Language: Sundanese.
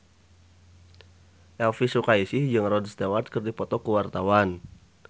Elvy Sukaesih jeung Rod Stewart keur dipoto ku wartawan